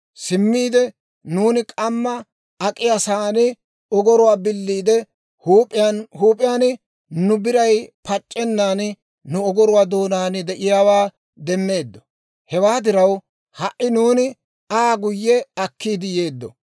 simmiide nuuni k'ammaa ak'iyaa sa'aan ogoruwaa biliide, huup'iyaan huup'iyaan nu biray pac'c'ennan nu ogoruwaa doonaan de'iyaawaa demmeeddo; hewaa diraw ha"i nuuni Aa guyye akkiidde yeeddo.